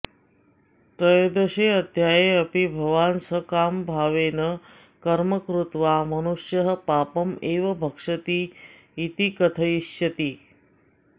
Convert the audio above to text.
त्रयोदशेऽध्याये अपि भवान् सकामभावेन कर्म कृत्वा मनुष्यः पापम् एव भक्षति इति कथयिष्यति